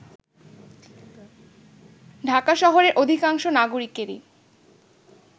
ঢাকা শহরের অধিকাংশ নাগরিকেরই